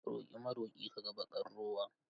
Roƙi maroƙi ka ga baƙar rowa.